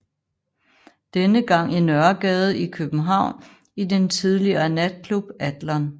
Denne gang i Nørregade i København i den tidligere natklub Adlon